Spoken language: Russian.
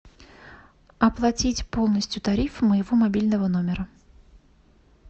оплатить полностью тариф моего мобильного номера